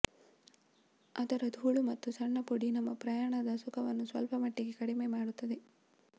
ಅದರ ಧೂಳು ಮತ್ತು ಸಣ್ಣ ಪುಡಿ ನಮ್ಮ ಪ್ರಯಾಣದ ಸುಖವನ್ನು ಸ್ವಲ್ಪ ಮಟ್ಟಿಗೆ ಕಡಿಮೆ ಮಾಡುತ್ತದೆ